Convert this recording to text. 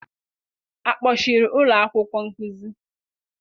a kpọchiri ụlọ akwụkwọ nkuzi?